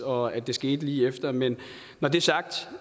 og at det skete lige efter men når det er sagt